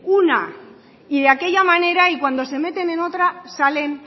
una y de aquella manera y cuando se meten en otra salen